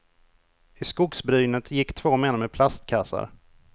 I skogsbrynet gick två män med plastkassar.